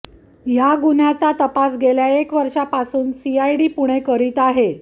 या गुन्ह्याचा तपास गेली एक वर्षापासून सीआयडी पुणे करीत आहेत